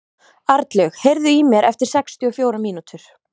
Arnlaug, heyrðu í mér eftir sextíu og fjórar mínútur.